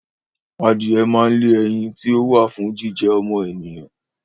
Adìyẹ máa ń lé ẹyin ti ó wà fún jíjẹ ọmọ ènìyàn